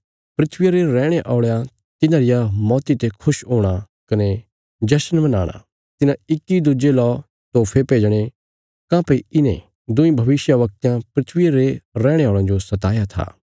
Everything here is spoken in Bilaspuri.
धरतिया रे रैहणे औल़यां तिन्हां रिया मौती ते खुश हूणा कने जशन मनाणा तिन्हां इक्की दुज्जे ला तोफे भेजणे काँह्भई इन्हें दुईं भविष्यवक्तयां धरतिया रे रैहणे औल़यां जो सताया था